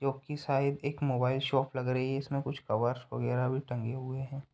जो की शायद एक मोबाइल शॉप लग रही हैं इसमें कुछ कवर्स वगेरा भी टंगे हुए हैं।